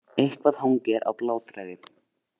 Eitthvað hangir á bláþræði